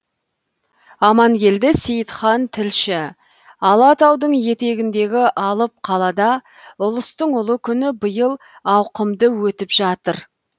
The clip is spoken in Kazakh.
амангелді сейітхан тілші алатаудың етегіндегі алып қалада ұлыстың ұлы күні биыл ауқымды өтіп жатыр